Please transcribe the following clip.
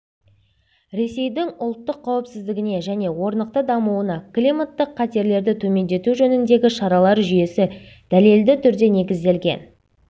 ресейдің ұлттық қауіпсіздігіне және орнықты дамуына климаттық қатерлерді төмендету жөніндегі шаралар жүйесі дәлелді түрде негізделген